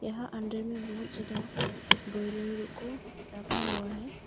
यहां अंदर में बहुत ज्यादा को रखा हुआ है।